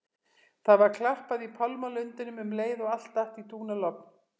Það var klappað í pálmalundinum um leið og allt datt í dúnalogn.